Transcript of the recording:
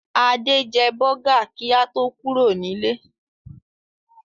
Adé jẹ bọ́gà kí a tó kúrò nílé.